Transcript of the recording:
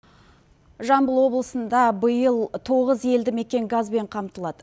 жамбыл облысында биыл тоғыз елді мекен газбен қамтылады